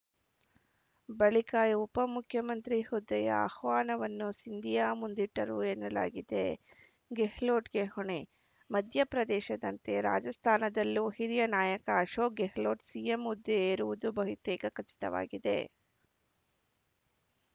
ಬಳಿಕ ಈ ಉಪಮುಖ್ಯಮಂತ್ರಿ ಹುದ್ದೆಯ ಆಹ್ವಾನವನ್ನು ಸಿಂಧಿಯಾ ಮುಂದಿಟ್ಟರು ಎನ್ನಲಾಗಿದೆ ಗೆಹ್ಲೋಟ್‌ಗೆ ಹೊಣೆ ಮಧ್ಯಪ್ರದೇಶದಂತೆ ರಾಜಸ್ಥಾನದಲ್ಲೂ ಹಿರಿಯ ನಾಯಕ ಅಶೋಕ್‌ ಗೆಹ್ಲೋಟ್‌ ಸಿಎಂ ಹುದ್ದೆ ಏರುವುದು ಬಹುತೇಕ ಖಚಿತವಾಗಿದೆ